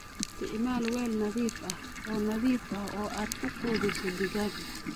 Isticmaal weel nadiif ah oo nadiif ah oo aad ku quudiso digaagga.